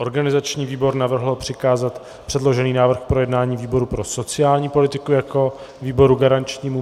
Organizační výbor navrhl přikázat předložený návrh k projednání výboru pro sociální politiku jako výboru garančnímu.